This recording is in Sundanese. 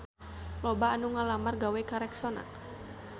Loba anu ngalamar gawe ka Rexona